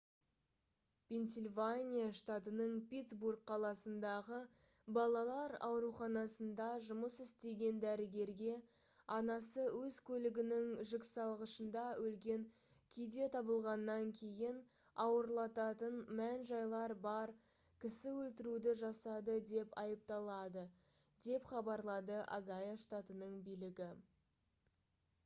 пенсильвания штатының питтсбург қаласындағы балалар ауруханасында жұмыс істеген дәрігерге анасы өз көлігінің жүксалғышында өлген күйде табылғаннан кейін ауырлататын мән-жайлар бар кісі өлтіруді жасады деп айыпталады деп хабарлады огайо штатының билігі